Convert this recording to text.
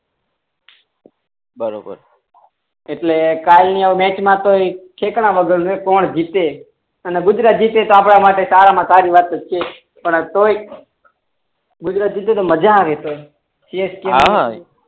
બરોબર એટલે કાલ ની મેચ મા તો ઠેકાણા વગર ની કોણ જીતે ગુજરાત જીતે તો આપણા માટે એ સારા મા સારી વાત તો છે જ પણ તોય ગુજરાત જીતશે તો મજા આવશ હા